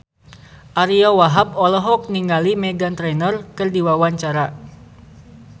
Ariyo Wahab olohok ningali Meghan Trainor keur diwawancara